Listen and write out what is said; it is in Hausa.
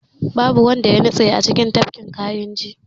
Babu wanda ya nutse a cikin tafkin kayinji